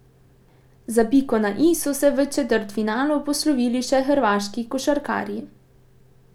Za piko na i so se v četrtfinalu poslovili še hrvaški košarkarji.